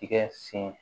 Tigɛ sen